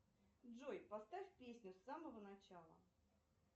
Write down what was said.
джой поставь песню с самого начала